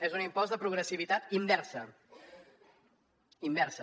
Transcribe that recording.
és un impost de progressivitat inversa inversa